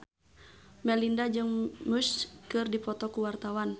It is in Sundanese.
Melinda jeung Muse keur dipoto ku wartawan